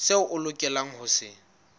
seo a lokelang ho se